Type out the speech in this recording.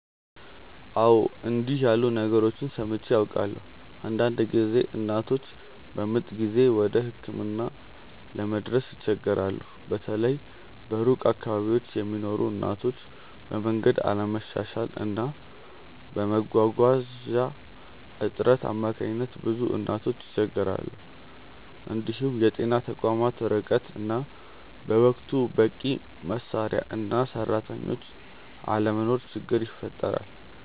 አዎ፣ እንዲህ ያሉ ነገሮችን ሰምቼ አውቃለሁ። አንዳንድ ጊዜ እናቶች በምጥ ጊዜ ወደ ሕክምና ለመድረስ ይቸገራሉ፤ በተለይ በሩቅ አካባቢዎች ለሚኖሩ እናቶች፤ በመንገድ አለመሻሻል እና በመጓጓዣ እጥረት አማካኝነት ብዙ እናቶች ይቸገራሉ። እንዲሁም የጤና ተቋማት ርቀት እና በወቅቱ በቂ መሳሪያ እና ሰራተኞች አለመኖር ችግር ይፈጥራል።